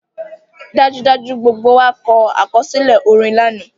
Dajudaju, gbogbo wa kọ akọsilẹ orin lana